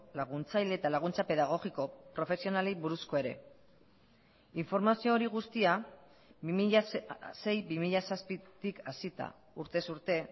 laguntzaile eta laguntza pedagogiko profesionalei buruzkoa ere informazio hori guztia bi mila sei bi mila zazpitik hasita urtez urte